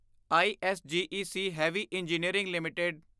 ISGEC heavy engineering LTD